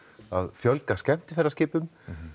að fjölga skemmtiferðaskipum